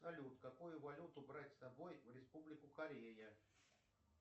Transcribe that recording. салют какую валюту брать с собой в республику корея